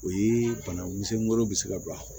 O ye bana misɛngolo bɛ se ka don a kɔnɔ